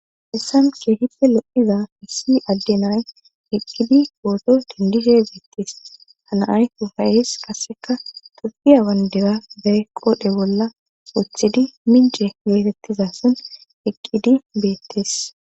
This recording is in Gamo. Hessan ke hippe lo7iza hissi adde nay eqqidi kooso dindishe beettes hanaay u fayes kaseka tafiya wandera bee qoodhe bolla woothidi mince geetettiza son eqqidi beettes.